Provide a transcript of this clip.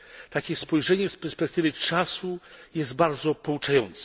Takie spojrzenie z perspektywy czasu jest bardzo pouczające.